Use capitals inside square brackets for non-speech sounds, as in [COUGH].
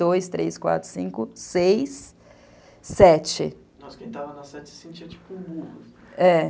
dois, três, quatro, cinco, seis, sete [UNINTELLIGIBLE] é.